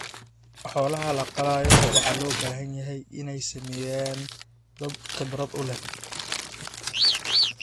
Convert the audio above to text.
Xoolaha la qalayo waxa loo baahan yahay in ay sameeyaan dad khibrad u leh.